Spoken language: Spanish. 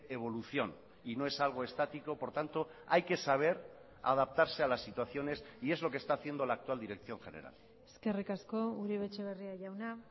evolución y no es algo estático por tanto hay que saber adaptarse a las situaciones y es lo que está haciendo la actual dirección general eskerrik asko uribe etxebarria jauna